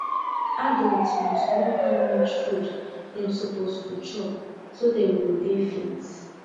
adult must know how much food dem suppose to chop so dem go dey fit